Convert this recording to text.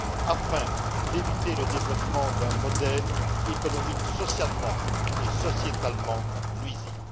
afin d'éviter le développement d'un modèle économique socialement et sociétalement nuisible.